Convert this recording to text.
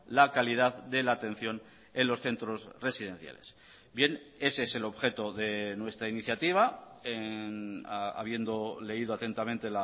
la calidad de la atención en los centros residenciales bien ese es el objeto de nuestra iniciativa habiendo leído atentamente